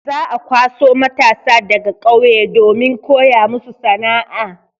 Za'a kwaso matasa daga ƙauye domin koya musu sana'a.